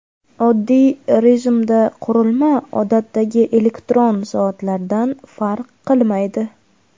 Oddiy rejimda qurilma odatdagi elektron soatlardan farq qilmaydi.